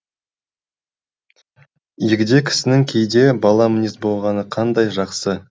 егде кісінің кейде бала мінез болғаны қандай жақсы